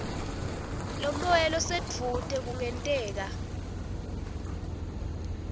lomoya losedvute kungenteka